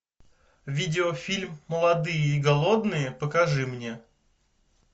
видеофильм молодые и голодные покажи мне